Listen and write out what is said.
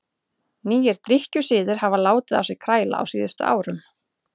Nýir drykkjusiðir hafa látið á sér kræla á síðustu árum.